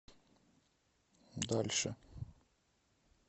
дальше